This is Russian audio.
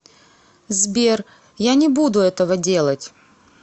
сбер я не буду этого делать